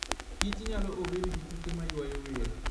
Kich nyalo obed gituke maywayo welo .